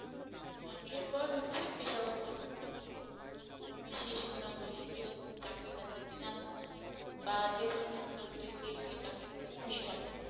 এরপর হচ্ছে পেশাগত লক্ষ্য, তোমার বিশেষ গুণাবলী যেটা তুমি চাকরিদাতাকে জানাতে চাও বা যে ধরনের গুণাবলী দেখলে চাকরিদাতা খুশি হবে।